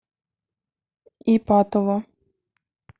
ипатово